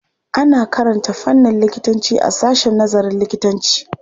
Ana karanta fannin likitanci a sashen nazarin likitanci.